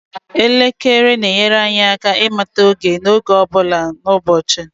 elekere na-enyere anyị aka ịmata oge n'oge ọ bụla n'ụbọchị